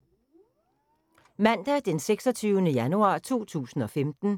Mandag d. 26. januar 2015